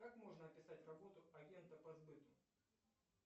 как можно описать работу агента по сбыту